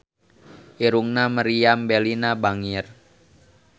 Irungna Meriam Bellina bangir